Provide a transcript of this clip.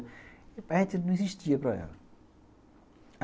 A gente não existia para ela.